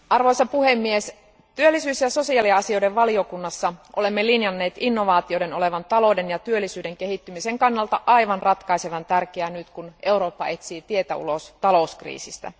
Arvoisa puhemies, työllisyyden ja sosiaaliasioiden valiokunnassa olemme linjanneet innovaatioiden olevan talouden ja työllisyyden kehittymisen kannalta aivan ratkaisevan tärkeitä nyt, kun Eurooppa etsii tietä ulos talouskriisistä.